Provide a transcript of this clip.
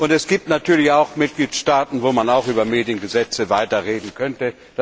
Es gibt natürlich auch Mitgliedstaaten, wo man auch über Mediengesetze sprechen könnte.